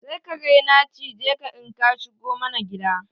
Sai kare na cije ka in ka shigo mana gida.